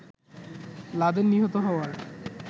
Laden নিহত হওয়ার